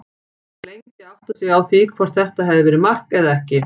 Maður var lengi að átta sig á því hvort þetta hafi verið mark eða ekki.